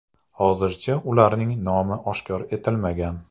Hozircha ularning nomi oshkor etilmagan.